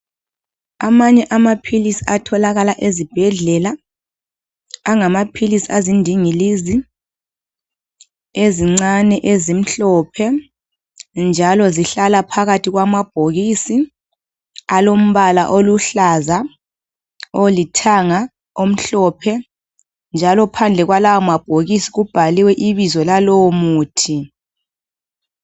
Amanye amaphilisi atholakala ezibhedlela angamaphilisi azindingilizi ezincane. ezimhlophe .Njalo zihlala phakathi kwamabhokisi .Alombala oluhlaza ,olithanga ,omhlophe .Njalo phandle kwalawo mabhokisi kubhaliwe ibizo lalowo muthi.